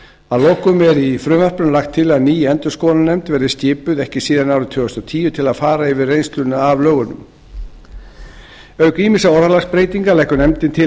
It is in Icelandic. að lokum er í frumvarpinu lagt til að ný endurskoðunarnefnd verði skipuð ekki síðar en árið tvö þúsund og tíu til að fara yfir reynsluna af lögunum auk ýmissa orðalagsbreytinga leggur nefndin til